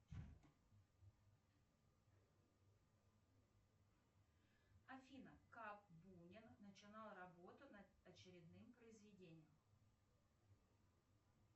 афина как бунин начинал работу над очередным произведением